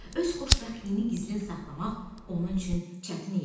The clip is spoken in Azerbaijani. Öz xoşbəxtliyini gizlin saxlamaq onun üçün çətin idi.